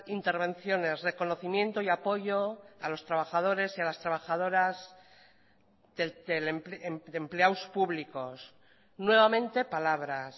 intervenciones reconocimiento y apoyo a los trabajadores y a las trabajadoras empleados públicos nuevamente palabras